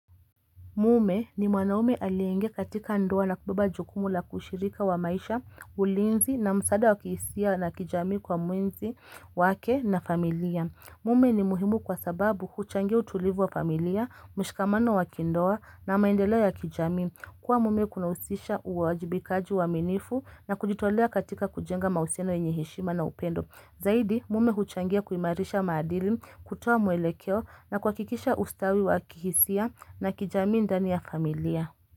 Mume ni mwanaume alienge katika ndoa na kubeba jukumu la kushirika wa maisha, ulinzi na msaada wa kihisia na kijami kwa mwenzi wake na familia. Mume ni muhimu kwa sababu kuchangia utulivu wa familia, mshikamano wa kindoa na maendelea ya kijamii. Kwa mume kunausisha uwaajibikaji waminifu na kujitolea katika kujenga mauseno enyehishima na upendo. Zaidi mume huchangia kuimarisha maadili kutuwa mwelekeo na kwa kikisha ustawi wa kihisia na kijamii ndani ya familia.